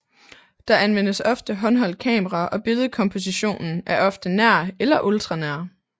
Der anvendes ofte håndholdt kamera og billedkompositionen er ofte nær eller ultranær